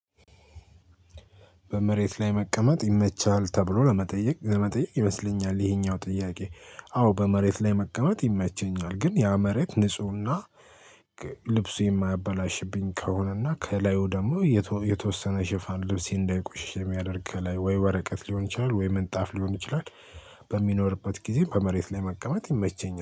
በመሬት ላይ መቀመጥ ይመቻል ተብሎ ለመጠየቅ የመጠየቅ ይመስለኛል ይሄኛው ጥያቄ? አዎ በመሬት ላይ መቀመጥ ይመቸኛል ግን ያ መሬት ንፁህና ልብሱ የማያበላሽብኝ ከሆነና ከላዩ ደግሞ የተወ የተወሰነ ሽፋን ልብስ እንዳይቆሽሽ የሚያደርግ ከላይ ወይ ወረቀት ሊሆን ይችላል ወይ ምንጣፍ ሊሆን ይችላል። በሚኖርበት ጊዜ በመሬት ላይ መቀመጥ ይመቸኛል